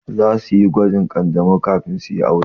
Zasu yi gwajin ƙanjamau kafin su yi aure.